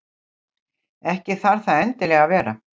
Ekki þarf það endilega að vera.